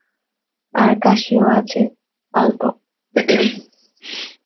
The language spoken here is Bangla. আর কাশিও আছে অল্প